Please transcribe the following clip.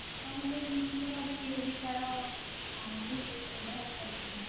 ତାହାଲେ ନିଶ୍ଚିନ୍ତ ଭାବେ କେହି ବି କାହାର ଅଁ ଭୁଲ ବ୍ୟବହାର କରିପାରିବେନି